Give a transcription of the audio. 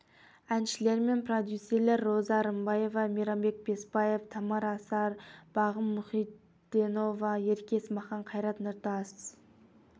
әншілер мен продюсерлер роза рымбаева мейрамбек беспаев тамара асар бағым мұхитденова ерке есмахан қайрат нұртас